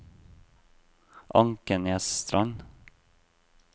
Ankenesstrand